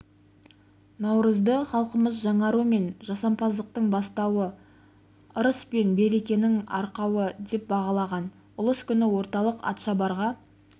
наурызды халқымыз жаңару мен жасампаздықтың бастауы ырыі пен берекенің арқауы деп бағалаған ұлыс күні орталық атшабарға